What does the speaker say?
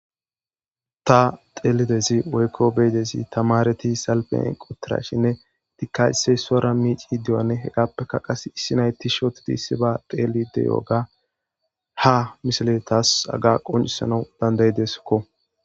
Ta teelidezi woykko beedezi tamareti salpen qotirashinne dikasey sora miici deoane hedappeka qas issi nayti shootidi issi ba teeli deyooga ha misaletas aga qoncisanau dandayideskko